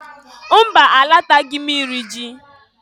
Mba! Alataghị m iri ji.